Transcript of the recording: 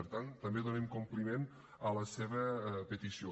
per tant també donem compliment a la seva petició